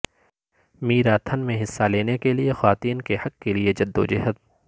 marathon میں حصہ لینے کے لئے خواتین کے حق کے لئے جدوجہد